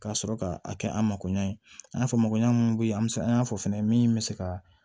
Ka sɔrɔ ka a kɛ an makoɲɛn fɔ mɔgɔɲɔgɔn an y'a fɔ fɛnɛ min bɛ se ka